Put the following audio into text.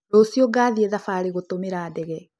Rũciũ ngathiĩ thabarĩ gũtumĩra ndege